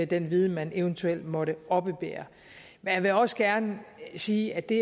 den viden man eventuelt måtte oppebære men jeg vil også gerne sige at det